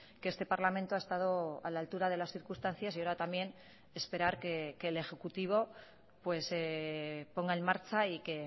que este parlamento ha estado a la altura de las circunstancias y ahora también esperar que el ejecutivo ponga en marcha y que